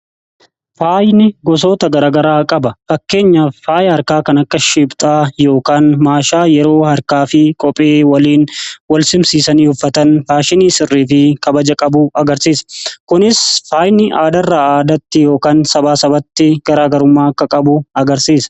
Faayni gosoota garaa garaa qaba. Fakkeenya faayi harkaa kan akka shiiphxaa yookaan maashaa yeroo harkaa fi qophee waliin wal simsiisanii uffatan faashinii sirrii fi kabaja qabu agarsiisa. Kunis faayni aadaarraa aadaatti yookaan sabaa sabatti garaa garummaa akka qabu agarsiisa.